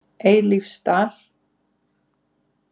Eilífsdal